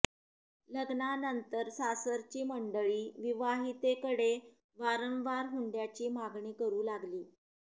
लग्नानंतर सासरची मंडळी विवाहितेकडे वारंवार हुंड्याची मागणी करु लागली